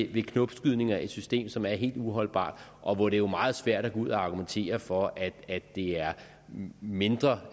ved knopskydninger nået et system som er helt uholdbart og hvor det jo er meget svært at gå ud og argumentere for at det er mindre